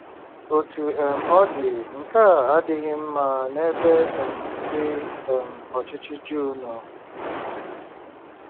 Otú um ọ dị, nke a adịghị mma n'ebe um ndị um ọchịchị Juu nọ.